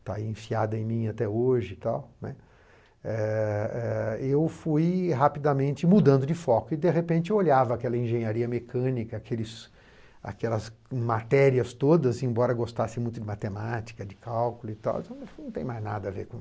está enfiada em mim até hoje e tal, né, eh eh eu fui rapidamente mudando de foco e, de repente, eu olhava aquela engenharia mecânica, aqueles aquelas matérias todas, embora gostasse muito de matemática, de cálculo, não tem mais nada a ver comigo.